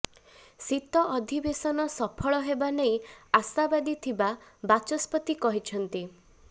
ଶୀତ ଅଧିବେଶନ ସଫଳ ହେବା ନେଇ ଆଶାବାଦୀ ଥିବା ବାଚସ୍ପତି କହିଛନ୍ତି